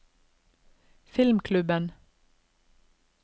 filmklubben